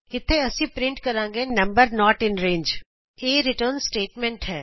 ਇਥੇ ਅਸੀਂ ਪਰਿੰਟ ਕਰਾਂਗੇ ਨੰਬਰ ਨੋਟ ਇਨ ਰੰਗੇ ਇਹ ਸਾਡੀ ਰਿਟਰਨ ਸਟੇਟਮੈਂਟ ਹੈ